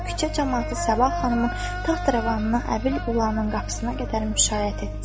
Küçə camaatı Sabah xanımın taxt-rəvanını Əbil Ulının qapısına qədər müşayiət etdi.